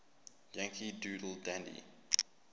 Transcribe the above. yankee doodle dandy